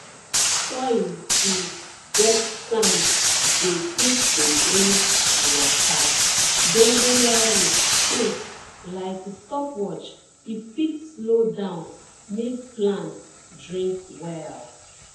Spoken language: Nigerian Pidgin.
soil we get sand dey quick to drink water dongoyaro cake like stopwatch e fit slow down make plant drink well